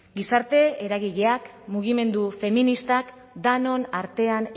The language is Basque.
gizarte eragileak mugimendu feministak denon artean